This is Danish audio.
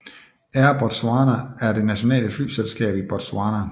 Air Botswana er det nationale flyselskab i Botswana